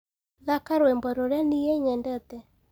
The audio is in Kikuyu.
thaka rwĩmbo rũrĩa nĩĩ nyendete